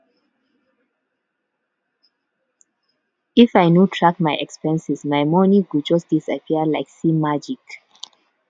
if i no track my expenses my money go just disappear like um magic